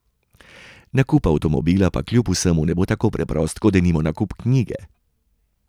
Nakup avtomobila pa kljub vsemu ne bo tako preprost kot denimo nakup knjige.